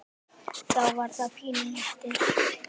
Þá var það pínu léttir.